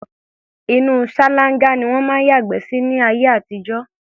Inú ṣáláńgá ni wọ́n ń yàgbẹ́ sí láyé àtijọ́.